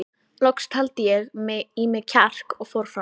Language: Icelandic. Loks taldi ég í mig kjark og fór fram.